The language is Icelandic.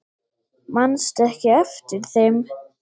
Manstu ekki eftir þeim?